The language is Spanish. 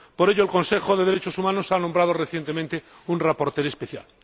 Por ello, el Consejo de Derechos Humanos ha nombrado recientemente a un relator especial.